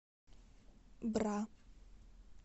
бра